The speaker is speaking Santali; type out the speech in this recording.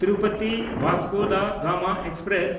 Tirupati Vasco da Gama express